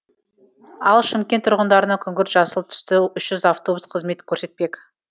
ал шымкент тұрғындарына күңгірт жасыл түсті үш жүз автобус қызмет көрсетпек